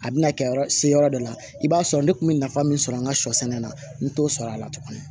A bɛna kɛ se yɔrɔ dɔ la i b'a sɔrɔ ne kun bɛ nafa min sɔrɔ an ka sɔ sɛnɛ na n t'o sɔrɔ a la tugun